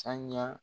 Sanga